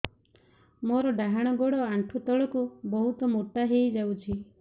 ମୋର ଡାହାଣ ଗୋଡ଼ ଆଣ୍ଠୁ ତଳକୁ ବହୁତ ମୋଟା ହେଇଯାଉଛି